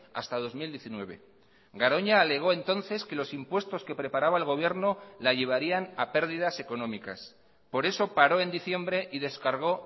hasta dos mil diecinueve garoña alegó entonces que los impuestos que preparaba el gobierno la llevarían a pérdidas económicas por eso paró en diciembre y descargó